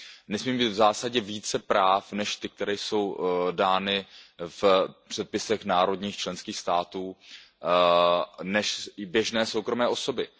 Nesmí mít v zásadě více práv než ta, která jsou dána v předpisech národních členských států, než běžné soukromé osoby.